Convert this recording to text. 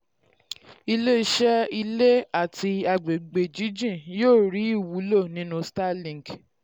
iléeṣẹ́ ilé àti àgbègbè jíjìn yóò rí ìwúlò nínú starlink.